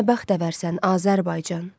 Sən nə bəxtəvərsən, Azərbaycan.